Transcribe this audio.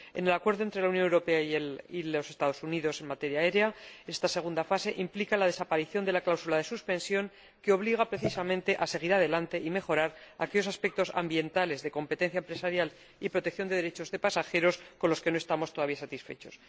En el Acuerdo entre la Unión Europea y los Estados Unidos en materia aérea, esta segunda fase implica la desaparición de la cláusula de suspensión que obliga, precisamente, a seguir adelante y mejorar aquellos aspectos ambientales de competencia empresarial y protección de derechos de pasajeros con los que no estamos todavía satisfechos.